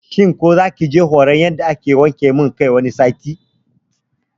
shin ku zakije horan yadda ake man wanke kai wani sati?